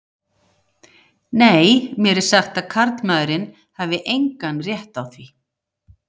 Nei, mér er sagt að karlmaðurinn hafi engan rétt á því.